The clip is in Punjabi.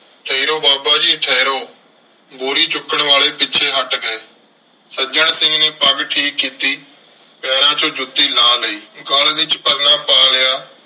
ਠਹਿਰੋ ਬਾਬਾ ਜੀ ਠਹਿਰੋ। ਬੋਰੀ ਚੁੱਕਣ ਵਾਲੇ ਪਿੱਛੇ ਹੱਟ ਗਏ। ਸੱਜਣ ਸਿੰਘ ਨੇ ਪੱਗ ਠੀਕ ਕੀਤੀ। ਪੈਰਾਂ ਚੋਂ ਜੁੱਤੀ ਲਾਹ ਲਈ। ਗਲ ਵਿੱਚ ਪਰਨਾ ਪਾ ਲਿਆ।